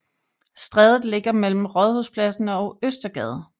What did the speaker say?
Strædet ligger mellem Rådhuspladsen og Østergade